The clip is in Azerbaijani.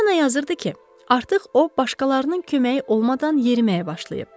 Poliana yazırdı ki, artıq o başqalarının köməyi olmadan yeriməyə başlayıb.